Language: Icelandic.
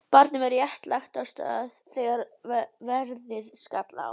Barnið var rétt lagt af stað þegar veðrið skall á.